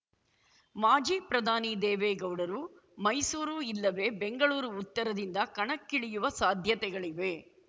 ಮಾಜಿ ಪ್ರಧಾನಿ ದೇವೇಗೌಡರು ಮೈಸೂರು ಇಲ್ಲವೆ ಬೆಂಗಳೂರು ಉತ್ತರದಿಂದ ಕಣಕ್ಕಿಳಿಯುವ ಸಾಧ್ಯತೆಗಳಿವೆ